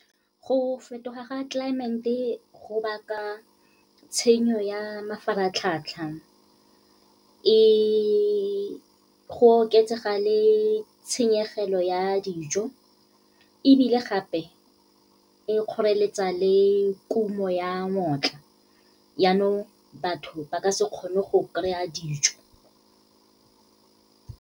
Go fetoga ga , go baka tshenyo ya mafaratlhatlha. Go oketsega le tshenyegelo ya dijo, ebile gape e kgoreletsa le kumo ya yanong, batho ba ka se kgone go kry-a dijo.